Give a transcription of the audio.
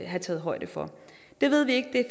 have taget højde for det ved vi ikke